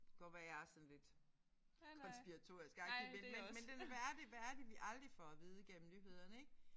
Godt være jeg er sådan lidt konspiratorisk agtig men men men det hvad er det hvad er det vi aldrig får at vide gennem nyhederne ik